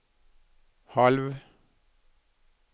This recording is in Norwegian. halv